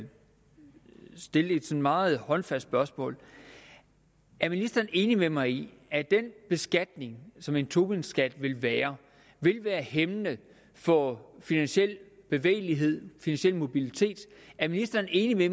stille et sådan meget håndfast spørgsmål er ministeren enig med mig i at den beskatning som en tobinskat vil være vil være hæmmende for finansiel bevægelighed finansiel mobilitet er ministeren enig